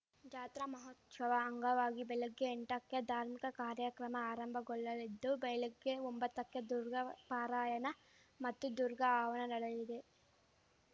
ಜಾತ್ರಾ ಮಹೋತ್ಸವ ಅಂಗವಾಗಿ ಬೆಳಗ್ಗೆ ಎಂಟಕ್ಕೆ ಧಾರ್ಮಿಕ ಕಾರ್ಯಕ್ರಮ ಆರಂಭಗೊಳ್ಳಲಿದ್ದು ಬೆಳಗ್ಗೆ ಒಂಬತ್ತಕ್ಕೆ ದುರ್ಗಾ ಪಾರಾಯಣ ಮತ್ತು ದುರ್ಗಾ ಹವನ ನಡೆಯಲಿದೆ